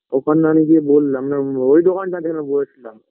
ওখানে আমি গিয়ে বোললাম না ওই দোকানটা যেখানে বোসলাম